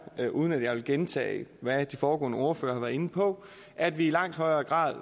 uden at jeg vil gentage hvad de foregående ordførere har været inde på at vi i langt højere grad